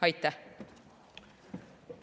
Aitäh!